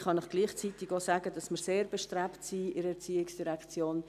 Ich kann Ihnen gleichzeitig aber auch sagen, dass wir sehr bestrebt sind in der ERZ.